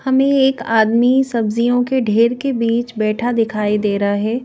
हमें एक आदमी सब्जियों के ढेर के बीच बैठा दिखाई दे रहा है।